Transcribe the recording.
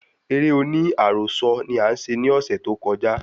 Eré oní àròsọ ni a ṣe ní ọsẹ tó koja